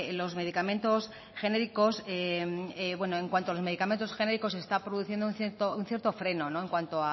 los medicamentos genéricos bueno en cuanto a los medicamentos genéricos se está produciendo un cierto freno en cuanto